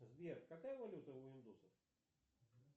сбер какая валюта у индусов